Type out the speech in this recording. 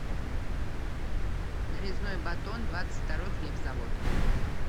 нарезной батон двадцать второй хлебзавод